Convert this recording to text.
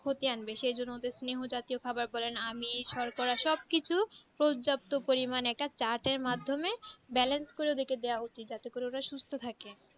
ক্ষতি আনবে সেই জন্য ওদের স্নেহ জাতীয় খাবার দেবেন আমিন শর্করা সবকিছুই পর্যাপ্ত পরিমানে চাটে একটা balance করে রেখেদেওয়া হয়েছে যাতে করে ওরা সুস্থ থাকে